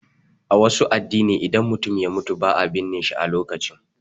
A wasu addini, idan mutum ya mutu ba a binne shi a lokacin.